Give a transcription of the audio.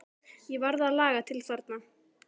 Ég varð að laga til þarna.